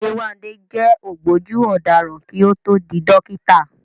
Yéwándé jẹ́ ògbójú ọ̀daràn kí ó tó di dókítà